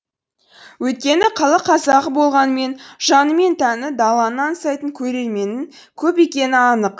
өйткені қала қазағы болғанымен жаны мен тәні даланы аңсайтын көрерменнің көп екені анық